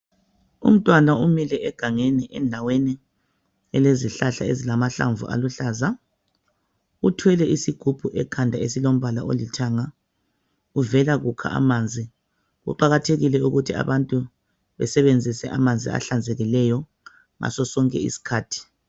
Umntwana umile egangeni endaweni elezihlahla ezilahlamvu aluhlaza uthwele isigubhu ekhanda esilombala olithanga uvela kukha amanzi kuqakathekile ukuthi abantu basebenzise amanzi ahlanzekileyo ngaso sonke isikhathi.